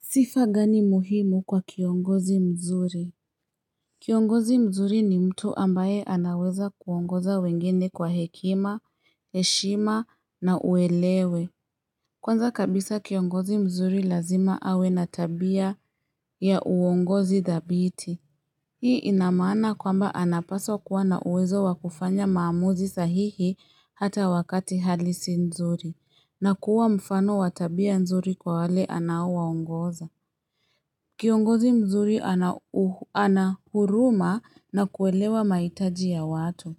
Sifa gani muhimu kwa kiongozi mzuri? Kiongozi mzuri ni mtu ambaye anaweza kuongoza wengine kwa hekima, heshima na uelewe. Kwanza kabisa kiongozi mzuri lazima awe na tabia ya uongozi dhabiti. Hii inamaana kwamba anapaswa kuwa na uwezo wakufanya maamuzi sahihi hata wakati halisi mzuri, na kuwa mfano wa tabia mzuri kwa wale anao waongoza. Kiongozi mzuri anahuruma na kuelewa mahitaji ya watu.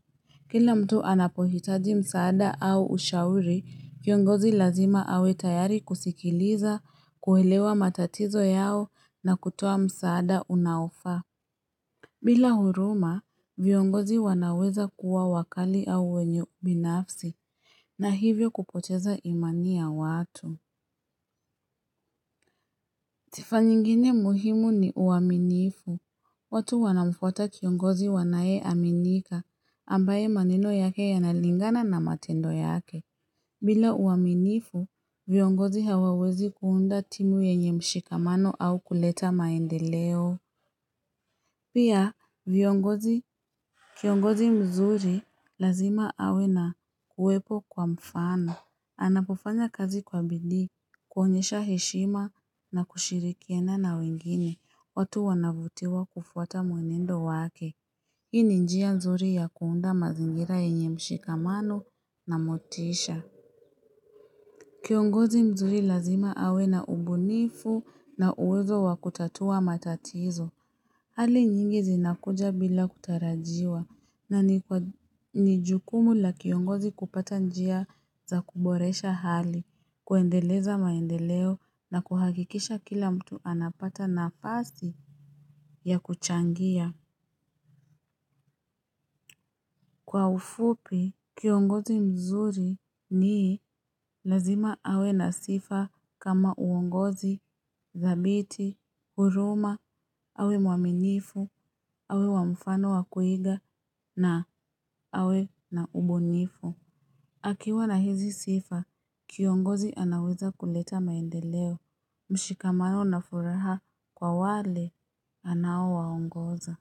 Kila mtu anapohitaji msaada au ushauri, kiongozi lazima awetayari kusikiliza, kuelewa matatizo yao na kutoa msaada unaofaa. Bila huruma, viongozi wanaweza kuwa wakali au wenye ubinafsi na hivyo kupocheza imani ya watu. Sifa nyingine muhimu ni uaminifu, watu wanamfuata kiongozi wanaye aminika ambaye maneno yake yanalingana na matendo yake. Bila uaminifu, viongozi hawawezi kuunda timu yenye mshikamano au kuleta maendeleo. Pia viongozi kiongozi mzuri lazima awe na kuwepo kwa mfano. Anapofanya kazi kwa bidiii, kuonyesha heshima na kushirikiana na wengine, watu wanavutiwa kufuata mwenendo wake. Hiini njia mzuri ya kuunda mazingira yenye mshikamano na motisha. Kiongozi mzuri lazima awe na ubunifu na uwezo wa kutatua matatizo. Hali nyingi zinakuja bila kutarajiwa na ni nijukumu la kiongozi kupata njia za kuboresha hali, kuendeleza maendeleo na kuhakikisha kila mtu anapata na fasi ya kuchangia. Kwa ufupi, kiongozi mzuri nii lazima awe na sifa kama uongozi, thabiti, huruma, awe mwaminifu, awe wamfano wakuiga na awe na ubunifu. Akiwa na hizi sifa, kiongozi anaweza kuleta maendeleo, mshikamano na furaha kwa wale anao waongoza.